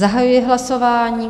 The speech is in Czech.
Zahajuji hlasování.